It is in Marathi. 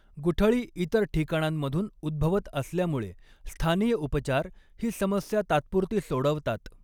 गुठळी इतर ठिकाणांमधून उद्भवत असल्यामुळे, स्थानीय उपचार ही समस्या तात्पुरती सोडवतात.